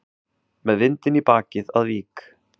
Með vindinn í bakið að Vík